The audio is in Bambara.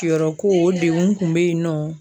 Tiyɔrɔ ko o degun kun be yen nɔ